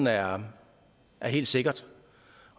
er helt sikkert